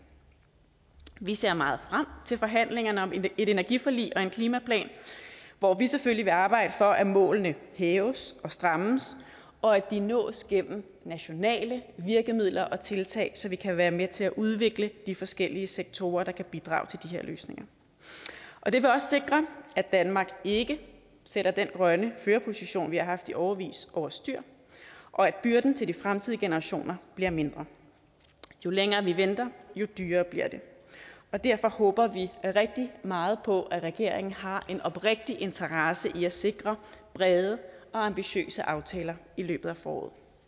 vi ser meget frem til forhandlingerne om et energiforlig og en klimaplan hvor vi selvfølgelig vil arbejde for at målene hæves og strammes og at de nås gennem nationale virkemidler og tiltag så vi kan være med til at udvikle de forskellige sektorer der kan bidrage til de her løsninger og det vil også sikre at danmark ikke sætter den grønne førerposition vi har haft i årevis over styr og at byrden til de fremtidige generationer bliver mindre jo længere vi venter jo dyrere bliver det derfor håber vi rigtig meget på at regeringen har en oprigtig interesse i at sikre brede og ambitiøse aftaler i løbet af foråret